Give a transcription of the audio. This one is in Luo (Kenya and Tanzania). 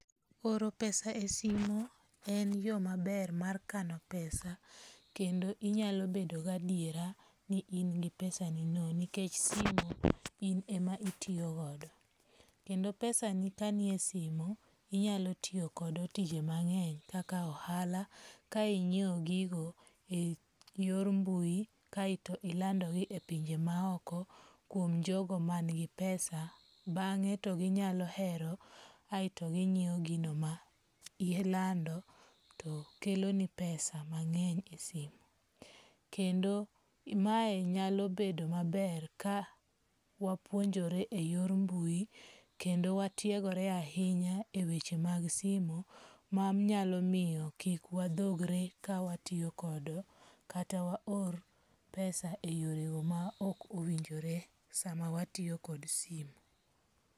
Oro pesa[cs[ e simo en yo maber mar kano pesa kendo inyalo bedo ga adiera ni in gi pesanino nikech simu in ema itiyogodo. Kenda pesani kani e simo, inyalotiyokodo tije mang'eny kaka ohala. Ka ingiew gigo e yor mbui kaeto inlandogi e pinje maoko kuom jogo man gi pesa. Bang'e to ginyalo hero aeto gingiyo gigo ma lando to kelo ni pesa mang'eny e simo. Kendo mae nyalo bedo maber ka wapuonjore e yor mbui kendo watiegore ahinya e weche mag simu. Manyalo miyo kik wadhogre ka watiyo kod kata wa or pesa e yore go ma ok owinjore sama watiyo kad simu.